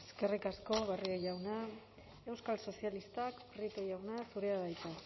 eskerrik asko barrio jauna euskal sozialistak prieto jauna zurea da hitza